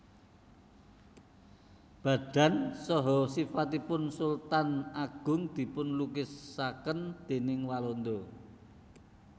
Badan saha sifatipun Sultan Agung dipun lukisaken déning Walanda